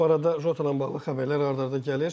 Bu arada Jota ilə bağlı xəbərlər ard-arda gəlir.